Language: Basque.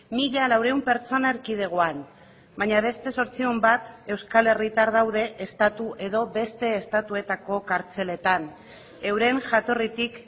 mila laurehun pertsona erkidegoan baina beste zortziehun bat euskal herritar daude estatu edo beste estatuetako kartzeletan euren jatorritik